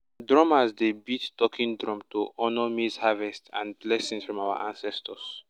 drummers dey beat talking drum to honour maize harvest and blessing from our ancestors.